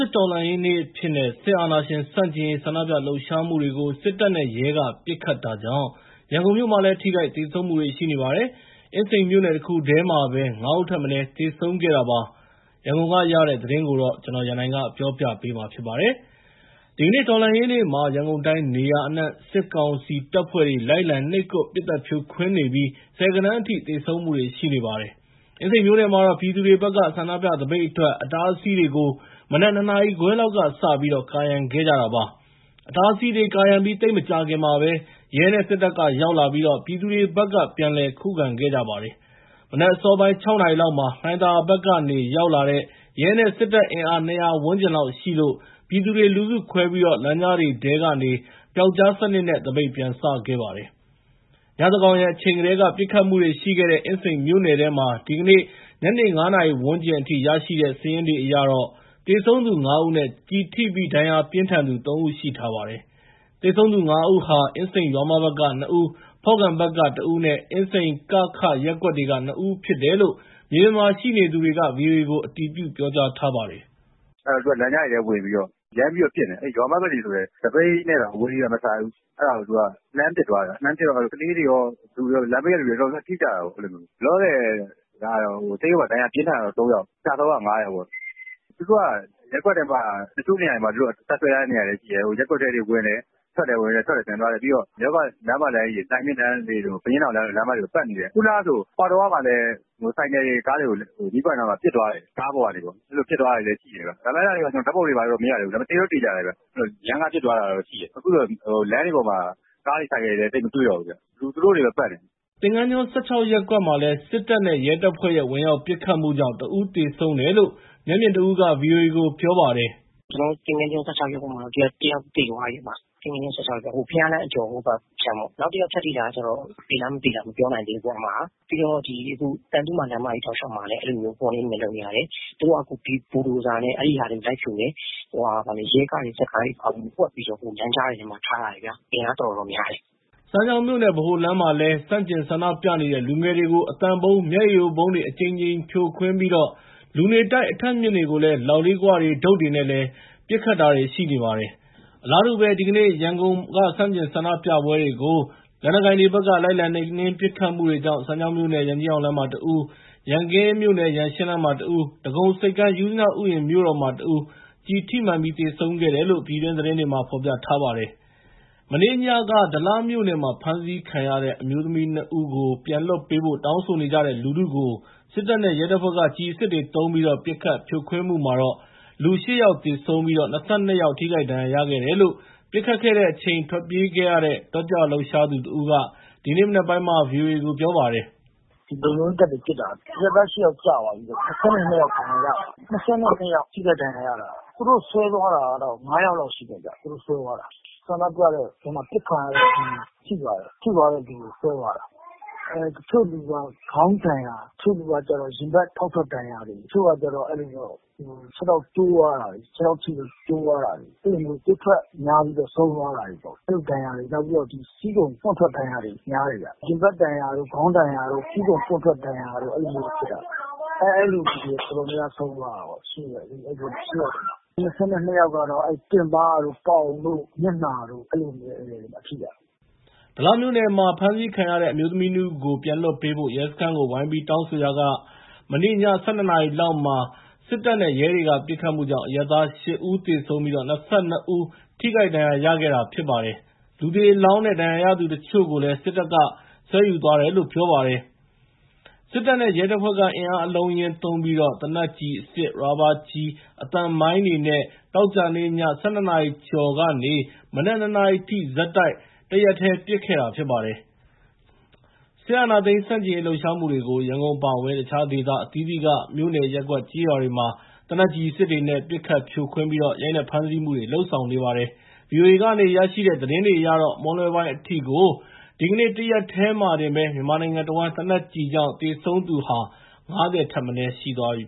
စ်တော်လှန်ရေးနေ့အဖြစ် စစ်အာဏာရှင်ဆန့်ကျင်ရေးဆန္ဒပြလှုပ်ရှားမှုတွေကို စစ်တပ်နဲ့ရဲက ပစ်ခတ်တာကြောင့် ရန်ကုန်မြို့မှာလည်း ထိခိုက်သေဆုံးမှုတွေရှိနေပါတယ်။ အင်းစိန်မြို့နယ်တခုတည်းမှာပဲ ၅ ဦးထက်မနည်းသေဆုံးတာပါ။ ရန်ကုန်ကရတဲ့ သတင်းကို ကိုရန်နိုင် ပြောပြပါမယ်။ ဒီကနေ့ တော်လှန်ရေးနေ့မှာ ရန်ကုန်တိုင်း နေရာအနှံ့ စစ်ကောင်စီတပ်ဖွ့ဲတွေက လိုက်လံနှိပ်ကွပ် ပစ်သတ်ဖြိုခွင်းနေပြီး ဆယ်ဂဏန်းအထိ သေဆုံးမှုတွေရှိနေပါတယ်။ အင်းစိန်မြို့နယ်မှာတော့ ပြည်သူတွေဘက်က ဆန္ဒပြသပိတ်အတွက် အတားအဆီးတွေကို နံနက် ၂ နာရီခွဲ လောက်ကစပြီး ကာရံခဲ့ကြတာပါ။ အတားအဆီးတွေ ကာရံပြီး သိပ်မကြာခင်မှာ ရဲနဲ့စစ်တပ်ကရောက်လာပြီး ပြည်သူတွေဘက်က ပြန်လည်ခုခံခဲ့ကြပါတယ်။ မနက်အစောပိုင်း ၆နာရီလောက်မှာ လှိုင်သာယာဘက်ကနေ ရောက်လာတဲ့ ရဲနဲ့စစ်တပ်အင်အား ၂၀၀ ဝန်းကျင်လောက်ရှိလို့ ပြည်သူတွေက လူစုခွဲပြီး လမ်းကြားတွေထဲ ကနေ ပြောက်ကျားစနစ်နဲ့ သပိတ်ပြန်စခဲ့ပါတယ်။ ညဉ့်သန်းခေါင်အချိန်ကတည်းက ပစ်ခတ်မှုတွေရှိခဲ့တဲ့ အင်းစိန်မြို့နယ်မှာ ဒီကနေ့ ညနေ ၅ နာရီဝန်းကျင် အထိ ရရှိထားတဲ့စာရင်းအရ သေဆုံးသူ ၅ဦးနဲ့ကျည်ထိပြီး ဒဏ်ရာပြင်းထန်သူ ၃ ဦး ရှိထားပါတယ်။ သေဆုံးသူ ၅ ဦးဟာ အင်းစိန် ရွာမဘက်က ၂ ဦး၊ ဖော့ကန်ဘက်က ၁ ဦးနဲ့ အင်းစိန် က၊ ခ ရပ်ကွက်က ၂ ဦး ဖြစ်တယ်လို့ မြေပြင်မှာရှိနေသူတဦးက ဗွီအိုအေကို အတည်ပြုထားပါတယ်။ "အဲမှာ သူတို့က လမ်းကြားတွေထဲဝင်ပြီးတော့ ရမ်းပြီးတော့ ပစ်နေတာ။ ရွာမဘက်တွေဆိုရင်လည်း သပိတ်နဲ့ တောင် အဝေးကြီးပဲ မဆိုင်ဘူး၊ အဲဒါကို လှမ်းပစ်သွားတာ။ လှမ်းပစ်တော့ ကလေးတွေရော၊ လမ်းဘေးက လူတွေရော တော်တော်များများ ထိကြတာပေါ့။ လောလောဆယ်ကတော့ ဆေးရုံမှာ ဒဏ်ရာပြင်းထန်တာက ၃ ယောက်၊ ကျဆုံးက ၅ ယောက်ပေါ့။ သူတို့က ရပ်ကွက်ထဲမှာ တချို့နေရာတွေမှာ တပ်စွဲထားတဲ့ နေရာတွေ လည်း ရှိတယ်။ ရပ်ကွက်တွေထဲ ဝင်တယ်၊ ထွက်တယ်၊ ပြန်သွားတယ်။ ပြီးတော့ ရပ်ကွက်လမ်းမတန်းကြီးတွေ၊ လှိုင်မြစ်လမ်းတွေ၊ ဘုရင့်နောင်လမ်းမကြီးတွေကို ပတ်နေတယ်။ ခုနကဆို ပေါက်တောဝမှာလည်း ဆိုင်ကယ်တွေ၊ ကားတွေကို မီးပွိုင့်မှာ ရမ်းကားပစ်သွားတယ်။ ကားပေါ်ကနေပြီးတော့ အဲဒီလိုပစ်သွားတာ တွေလည်း ရှိတယ်ဗျ။ အဲဒါတွေကို ကျနော်ဓာတ်ပုံတော့ မရိုက်ဘူး၊ ဒါပေမဲ့ သေချာတယ်ဗျ။ အခုတော့ လမ်းတွေပေါ်မှာကားတွေ၊ ဆိုင်ကယ်တွေလည်း သိပ်မတွေ့တော့ဘူးဗျ၊ သူတို့တွေပဲ ပတ်နေတယ်။" သင်္ဃန်းကျွန်း ၁၆ ရပ်ကွက်မှာ စစ်တပ်နဲ့ရဲတပ်ဖွဲ့ရဲ့ ဝင်ရောက် ပစ်ခတ်မှုကြောင့် တစ်ဦး သေဆုံးတယ်လို့ မျက်မြင်တစ်ဦးက ဗွီအိုအေကိုပြောကြားခဲ့ပါတယ်။ “ကျနော်တို့ သင်္ဃန်းကျွန်း ၁၆ ရပ်ကွက်မှာ တစ်ယောက်သွားပြီး၊ သင်္ဃန်းကျွန်း ၁၆ ရပ်ကွက် ဟိုဘုရားလမ်း အကျော် ဟိုဘက်ခြမ်းပေါ့၊ နောက်တယောက် ထပ်ထိတာကျတော့ သေလား မသေလား မပြောတတ်နိုင် သေးဘူး၊ ပြီးတော့ အခု သံသုမာလမ်းမကြီး တောက်လျှောက်လည်း အဲ့လိုမျိုး ဟိုတင်တွေ လုပ်နေတယ်။ ဘိုဒိုဇာနဲ့ အဲ့ဒီဟာတွေ လိုက်ဖြိုတယ်။ ရဲကားတွေ စစ်ကားတွေ ဖွက်ပြီးတော့ လမ်းကြားတွေမှာ ထား ထားတယ်ဗျာ။ အင်အားတော်တော်များတယ်။” စမ်းချောင်းမြို့နယ် ဗဟိုလမ်းမှာ ဆန့်ကျင်ဆန္ဒပြနေလူငယ်တွေကို အသံဗုံး၊ မျက်ရည်ယိုဗုံးသုံး အကြိမ်ကြိမ် ဖြိုခွင်းကာ လူနေတိုက်အထပ်အမြင့်ကို လောက်ခွ၊ တုတ်တွေနဲ့ ပစ်နေပါတယ်။ အလားတူပဲ၊ ဒီကနေ့ ရန်ကုန်မှာ ဆန့်ကျင်ဆန္ဒပြသူတွေကို လက်နက်ကိုင်တွေဘက်က လိုက်လံနှိပ်နင်း ပစ်ခတ်မှုကြောင့် စမ်းချောင်းမြို့နယ် ရန်ကြီးအောင်လမ်းမှာတစ်ဦးနဲ့ ရန်ကင်း ရန်ရှင်းလမ်းမှာ တစ်ဦး၊ ဒဂုံဆိပ်ကမ်း ယုဇနဥယျာဉ်မြို့တော်မှာတစ်ဦး ကျည်ထိမှန်သေဆုံးတယ်လို့ ပြည်တွင်း သတင်းတွေ မှာ ဖော်ပြထားပါတယ်။ မနေ့ညက ဒလမြို့နယ်မှာ ဖမ်းဆီးခံရတဲ့ အမျိုးသမီး နှစ်ဦးကို ပြန်လွှတ်ပေးဖို့ တောင်းဆိုနေကြတဲ့ လူထုကို စစ်တပ်နဲ့ ရဲတပ်ဖွဲ့က ကျည်အစစ်သုံး ပစ်ခတ်ဖြိုခွင်းမှုမှာ လူ ၈ ဦးသေဆုံး၊ ၂၂ ဦးထိခိုက်ဒဏ်ရာ ရရှိခဲ့တယ်လို့ ပစ်ခတ်တဲ့အချိန် ထွက်ပြေးခဲ့ရတဲ့ တက်ကြွလှုပ်ရှားသူတစ်ဦးက ဒီနေ့မနက်ပိုင်းမှာ ဗွီအိုအေကို ပြောခဲ့ပါတယ်။ “လုံခြုံရေးတပ်တွေပစ်တာ အရပ်သား ၈ ယောက်ကျသွားပြီ။ ဒဏ်ရာရထားတာ ၂၂ ယောက်။ သူတို့ဆွဲ သွားတာကတော့ ၅ ယောက်လောက်ရှိတယ်ဗျ။ သူတို့ဆွဲသွားတာ ဆန္ဒပြတဲ့အထဲ အပစ်ခံရတဲ့သူ ထိသွား တယ်။ သူသွားတဲ့လူကို ဆွဲသွားတာ၊ တချို့လူက ခေါင်းဒဏ်ရာ တချို့လူကတော့ကျတော့ ရင်ဘတ် ဖောက်ထွက် ဒဏ်ရာတွေ။ တချို့ကကျတော့ ခြေထောက်ကျိုးသွားတာတွေ ခြေထောက်ထိလို့ ကျိုးသွားတာတွေ။ အဲ့လိုမျိုးသွေးထွက်ပြီးတော့ ဆုံးသွားတာတွေပေါ့ အဲ့လိုဒဏ်ရာတွေ။ နောက်ဆီးခုံ ပေါက်ထွက် ဒဏ်ရာတွေ များတယ်ဗျ ရင်ဘတ်ဒဏ်ရာတို့၊ ခေါင်းဒဏ်ရာတို့ ဆီးခုံပေါက်ထွက် ဒဏ်ရာတွေ အဲ့လိုမျိုးဖြစ်တာ။ အဲ့လူတော်တော်များများဆုံးသွားတာပေါ့ အဲ့ ၈ ယောက်ထဲမှာ၊ ၂၀ နဲ့ ၂ ယောက်ကတော့ တင်ပါးတို့ ပေါင်တို့ မျက်နှာတို့ အဲ့လိုမျိုးထိတာ။” ဒလမြို့နယ်မှာ ဖမ်းဆီးခံရတဲ့ အမျိုးသမီး နှစ်ဦးကို ပြန်လွှတ်ပေးဖို့ ရဲစခန်းကို ဝိုင်းပြီးတောင်းဆိုရာ မနေ့က ည ၁၂ နာရီလောက်မှာ စစ်တပ်နဲ့ ရဲတွေရဲ့ ပစ်ခတ်မှုကြောင့် အရပ်သား ၈ ဦးသေဆုံး၊ ၂၂ ဦး ကျည်ထိမှန် ထိခိုက်ဒဏ်ရာရှိခဲ့တာပါ။ လူသေအလောင်းနဲ့ ဒဏ်ရာရထားသူတချို့ကိုလည်း စစ်တပ်က ဆွဲယူသွားတယ်လို့ ပြောပါတယ်။ စစ်တပ်နဲ့ ရဲတပ်ဖွဲ့က အင်အားအလုံးအရင်းသုံးပြီး သေနတ်ကျည်အစစ်၊ ရာဘာကျည်၊ အသံမိုင်းတွေနဲ့ သောကြာနေ့ ည ၁၂ နာရီကျော်ကနေ မနက် ၂ နာရီအထိ ဆက်တိုက် တရစပ် ပစ်ခတ်ခဲ့ပါတယ်။ စစ်အာဏာသိမ်းဆန့်ကျင်လှုပ်ရှာမှုတွေကို ရန်ကုန် အပါအဝင် တခြား ဒေသအသီးသီးက မြို့နယ်၊ ရပ်ကွက် ကျေးရွာတွေမှာ သေနတ်ကျည်အစစ်တွေနဲ့ ပစ်သတ်ဖြိုခွင်း ရိုက်နှက်ဖမ်းဆီးမှုတွေလုပ်ဆောင်နေပါတယ်။ VOA က ရရှိတဲ့သတင်းတွေအရ မွန်းလွဲပိုင်းအထိကို ဒီကနေ့ တနေ့တည်း မြန်မာနိုင်ငံအဝှမ်း သေနက်ကျည်ကြောင့် သေဆုံးသူ ၉၀ ဦးထက် မနည်းရှိသွားပါပြီ